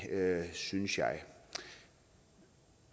synes jeg